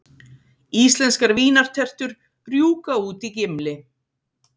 Íslenskar vínartertur rjúka út í Gimli